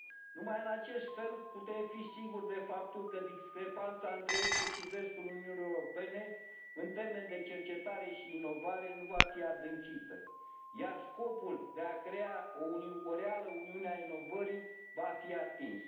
Numai în acest fel putem fi siguri de faptul că discrepanța între estul și vestul Uniunii Europene, în termeni de cercetare și inovare, nu va fi adâncită, iar scopul de a crea o reală Uniune a inovării va fi atins.